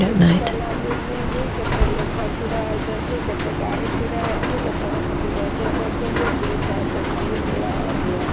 ତିନି ତାଲା ବିଲ୍ଡିଙ୍ଗି କେତେ ଲୋକ ଛିଡ଼ା ହେଇଚନ୍ତି କେତେ ଗାଡି ଛିଡ଼ା ହେଇଚି ଲୋକମାନେ ଯିବା ଆସିବା କରୁଚନ୍ତି ଦି ସାଇଟ୍ ରେ ନାଲି ନୀଳ ହଲଦିଆ--